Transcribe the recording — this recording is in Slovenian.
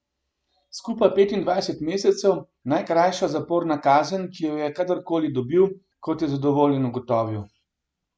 Skupaj petindvajset mesecev, najkrajša zaporna kazen, ki jo je kadar koli dobil, kot je zadovoljen ugotovil.